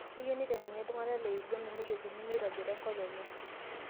Keyieu niteng'eni ltung'ana le Uganda nejokini meitobira enkop enye